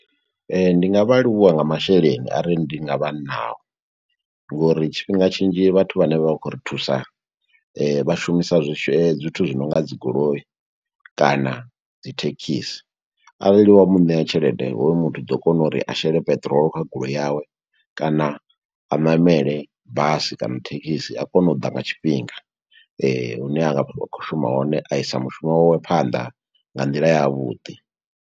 Ndi nga vha livhuwa nga masheleni, a re ndi nga vha nao, ngo uri tshifhinga tshinzhi vhathu vhane vha khou ri thusa, vha shumisa zwithu zwi nonga dzi goloi, kana dzi thekhisi. Arali wa mu ṋea tshelede, hoyu muthu u ḓo kona uri a shele peṱirolo kha goloi yawe, kana a ṋamele basi kana thekhisi, a kone u ḓa nga tshifhinga. Hune a nga vha a khou shuma hone, a i sa mushumo wawe phanḓa, nga nḓila ya vhuḓi.